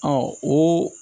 Ɔ o